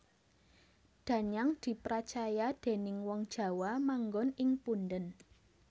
Danyang dipracaya déning wong Jawa manggon ing punden